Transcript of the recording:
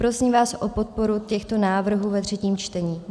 Prosím vás o podporu těchto návrhů ve třetím čtení.